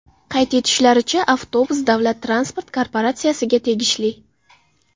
Qayd etishlaricha, avtobus davlat transport korporatsiyasiga tegishli.